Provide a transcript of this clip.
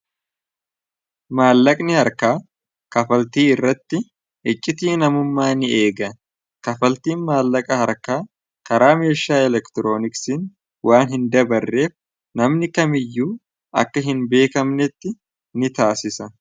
maallaqni harkaa kafaltii irratti iccitii namummaa ni eega kafaltiin maallaqa harkaa karaa meeshaa elektirooniksiin waan hin dabarreef namni kamiyyuu akka hin beekamnetti ni taasisa